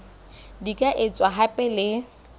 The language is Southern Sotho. di ka etswa hape le